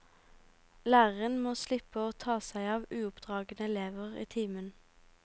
Læreren må slippe å ta seg av uoppdragne elever i timen.